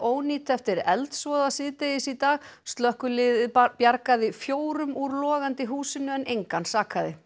gjörónýt eftir eldsvoða síðdegis í dag slökkvilið bjargaði fjórum úr logandi húsinu en engan sakaði